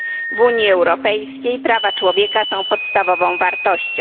W Unii Europejskiej prawa człowieka są podstawową wartością.